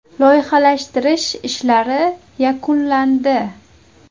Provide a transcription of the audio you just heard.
Loyihalashtirish ishlari yakunlandi.